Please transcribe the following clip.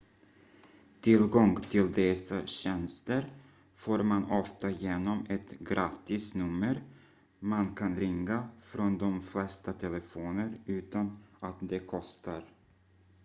tillgång till dessa tjänster får man ofta genom ett gratisnummer man kan ringa från de flesta telefoner utan att det kostar